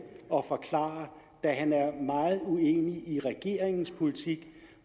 at forklare da han er meget uenig i regeringens politik